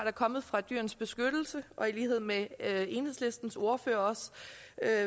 er kommet fra dyrenes beskyttelse og i lighed med enhedslistens ordfører